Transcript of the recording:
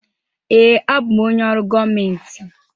Ee, abụ m onye ọrụ gọọmentị.